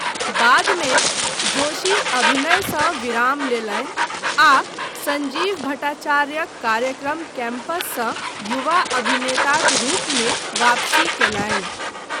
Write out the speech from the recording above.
बाद मे, जोशी अभिनयसँ विराम लेलनि आ सञ्जीव भट्टाचार्यक कार्यक्रम कैम्पससँ युवा अभिनेताक रूपमे वापसी कयलनि।